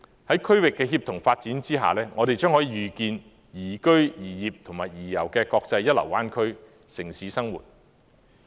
在區域的協同發展下，我們將可預見宜居、宜業和宜遊的國際一流灣區城市生活。